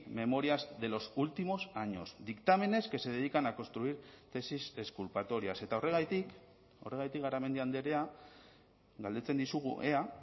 memorias de los últimos años dictámenes que se dedican a construir tesis exculpatorias eta horregatik horregatik garamendi andrea galdetzen dizugu ea